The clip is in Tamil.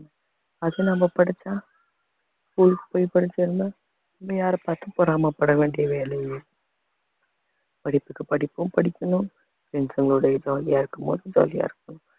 அது நம்ம படிச்சா school க்கு போய் படிச்சிருந்தா நம்ம யாரைப் பாத்தும் பொறாமை பட வேண்டிய வேலை படிப்புக்கு படிப்பும் படிக்கணும் friends ங்க ஒட jolly யா இருக்கும்போது jolly ஆ இருக்கணும்